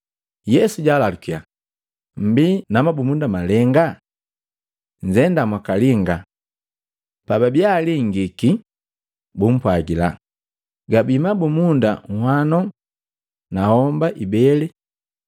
Yesu jalalukiya, “Mmbii na mabumunda malenga? Nzendannya mwakalinga.” Pababia alingiki, bumpwagila, “Gabii mabumunda nhwano na homba ibele.”